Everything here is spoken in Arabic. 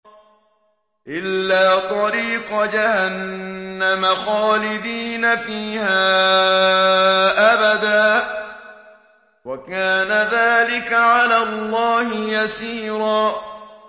إِلَّا طَرِيقَ جَهَنَّمَ خَالِدِينَ فِيهَا أَبَدًا ۚ وَكَانَ ذَٰلِكَ عَلَى اللَّهِ يَسِيرًا